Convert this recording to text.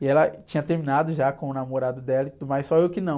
E ela tinha terminado já com o namorado dela e tudo mais, só eu que não.